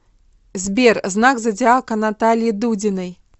сбер знак зодиака натальи дудиной